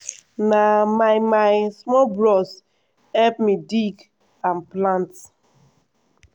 na my my small bros help me dig and plant.